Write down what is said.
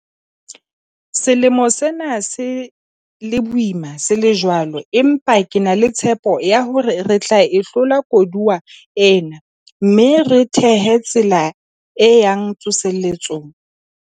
Selemo sena se le boima se le jwalo, empa ke na le tshepo ya hore re tla e hlola koduwa ena mme re thehe tsela e yang tsoseletsong.